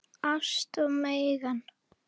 Ást, Megan.